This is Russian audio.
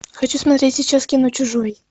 хочу смотреть сейчас кино чужой